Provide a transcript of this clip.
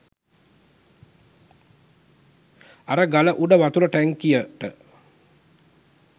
අර ගල උඩ වතුර ටැංකියට